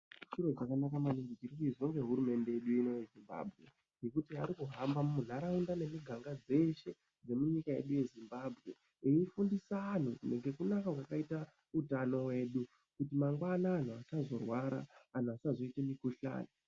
Chiro chakanaka maningi chiri kuizwa ngehurumende yedu ino iyi ngekuti ari kuhamba munharaunda nemuganga dzeshe dzemunyika yedu yeZimbabwe eifundisa anhu ngekunaka kwakaita utano wedu kuti mangwanani anhu asazorwara anhu asazoite mukhuhlani.